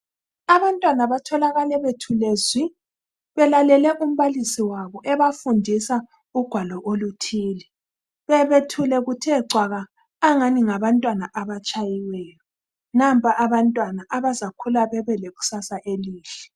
Abantwana batholakale bethule zwi belalele umbalisi wabo ebafundisa ugwalo oluthile. Bebethule kuthe cwaka angani ngabantwana abatshayiweyo, nampa abantwana abazakhula bebe lekusasa elihle.